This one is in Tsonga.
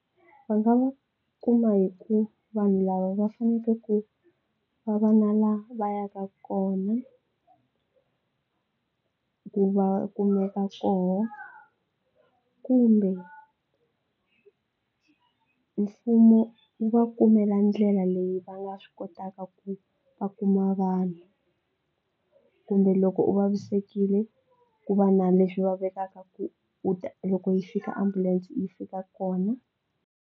Va nga va kuma hi ku vanhu lava va fanekele ku va va na la va yaka kona ku va kumeka kona kumbe mfumo wu va kumela ndlela leyi va nga swi kotaka ku va kuma vanhu kumbe loko u vavisekile ku va na leswi va vekaka ku u ta loko yi fika ambulense yi fika kona.